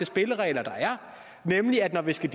spilleregler der er nemlig at når vi skal